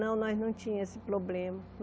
Não, nós não tínhamos esse problema.